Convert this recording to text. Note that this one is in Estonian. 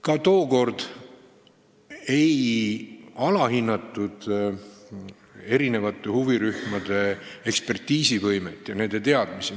Ka tookord ei alahinnatud huvirühmade ekspertiisivõimet ja nende teadmisi.